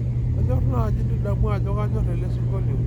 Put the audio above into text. kanyor naaji nidamu ajo kanyor elesingolio